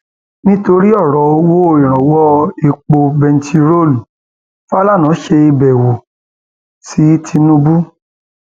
nítorí ọrọ owó ìrànwọ epo bẹntiróòlù fàlànà ṣàbẹwò sí tìǹbù